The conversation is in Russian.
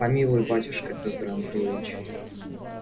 помилуй батюшка петр андреич